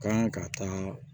Kan ka taa